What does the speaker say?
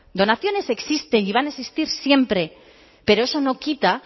donaciones existen y van a existir siempre pero eso no quita